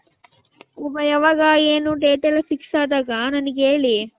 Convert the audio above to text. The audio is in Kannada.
ಯಾವಾಗ ಏನು date ಎಲ್ಲಾ fix ಅದಾಗ ನಂಗ್ ಹೇಳಿ .